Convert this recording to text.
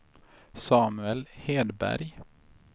Samuel Hedberg